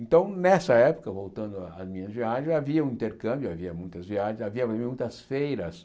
Então, nessa época, voltando à às minhas viagens, havia um intercâmbio, havia muitas viagens, havia muitas feiras.